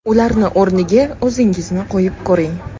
Ularni o‘rniga o‘zingizni qo‘yib ko‘ring.